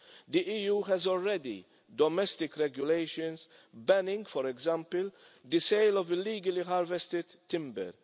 The EU already has domestic regulations banning, for example, the sale of illegally harvested timber.